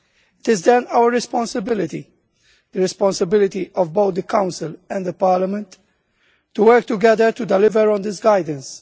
It is then our responsibility the responsibility of both the Council and the Parliament to work together to deliver on this guidance.